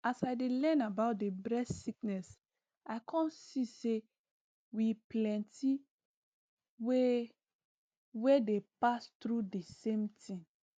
as i dey learn about the breast sickness i come see say we plenty wey wey dey pass through di same tin